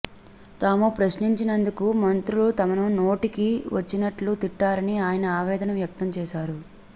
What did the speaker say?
తాము ప్రశ్నించినందుకు మంత్రులు తమను నోటికి వచ్చినట్లు తిట్టారని ఆయన ఆవేదన వ్యక్తం చేశారు